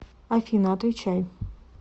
афина отвечай